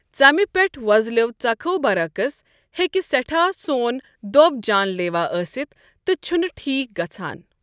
ژمہِ پیٹھ ووزلِیو٘ ژكھو٘ برعکس، ہیكہِ سیٹھاہ سون دۄب جان لیوا ٲسِتھ تہٕ چھُنہٕ ٹھیٖک گژھان ۔